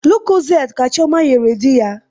Lokozede ka chioma nyere dị ya